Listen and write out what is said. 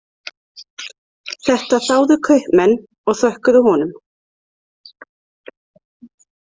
Þetta þáðu kaupmenn og þökkuðu honum.